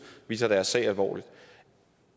vi tager deres sag alvorligt